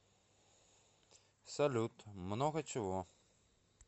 салют много чего